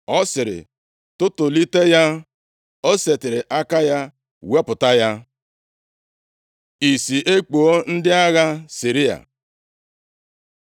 Ọ sịrị, “Tụtụlite ya.” O setịrị aka ya wepụta ya. Ìsì ekpuo ndị agha Siria